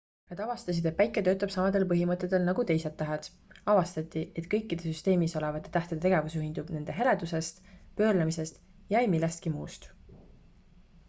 nad avastasid et päike töötab samadel põhimõtetel nagu teised tähed avastati et kõikide süsteemis olevate tähtede tegevus juhindub nende heledusest pöörlemisest ja ei millestki muust